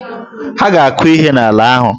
Ha a ga-akụ ihe n'ala ahụ.